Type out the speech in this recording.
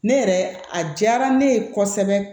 Ne yɛrɛ a diyara ne ye kosɛbɛ